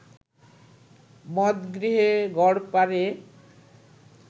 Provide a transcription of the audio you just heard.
মদগৃহে গড়পারে